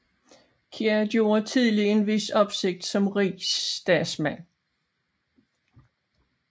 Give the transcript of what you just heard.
Kjær gjorde tidlig en vis opsigt som Rigsdagsmand